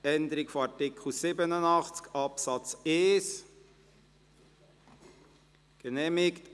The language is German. Wer dem zustimmt, stimmt Ja, wer es ablehnt, stimmt Nein.